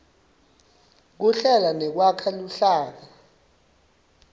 kuhlela nekwakha luhlaka